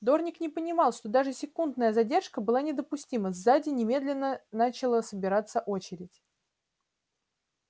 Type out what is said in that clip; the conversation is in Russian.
дорник не понимал что даже секундная задержка была недопустима сзади немедленно начала собираться очередь